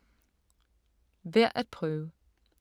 Værd at prøve